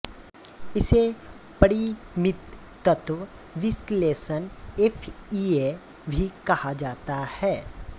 इसे परिमित तत्व विश्लेषण एफईए भी कहा जाता है